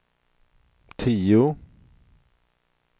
tio